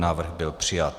Návrh byl přijat.